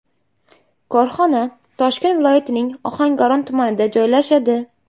Korxona Toshkent viloyatining Ohangaron tumanida joylashadi.